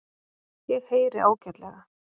Ég heyri ágætlega.